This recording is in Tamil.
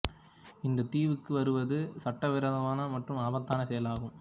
இந்த தீவுக்கு வருவது சட்ட விரோதமான மற்றும் ஆபத்தான செயலாகும்